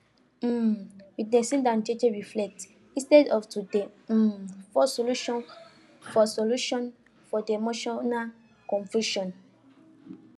um we dey sit don jeje reflect instead of to dey um force solution for solution for the emotional confusion